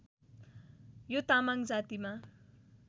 यो तामाङ जातिमा